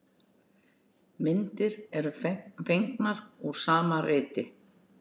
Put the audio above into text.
Myndir eru fengnar úr sama riti.